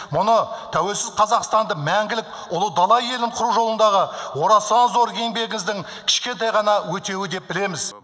мұны тәуелсіз қазақстанды мәңгілік ұлы дала елін құру жолындағы орасан зор еңбегіңіздің кішкентай ғана өтеуі деп білеміз